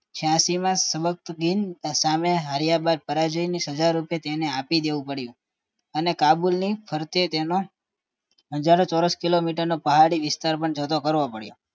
છાયાશી માં સબકતગીન સામે હાર્યા બાદ પરાજયની સજારૂપે તેને આપી દેવું પડ્યું અને કાબુલ ની ફરતે તેનો હજારો ચોરસ કિલોમીટર પહાડી વિસ્તાર પણ જોતો કરવો પડયો